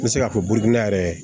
N bɛ se k'a fɔ burukina yɛrɛ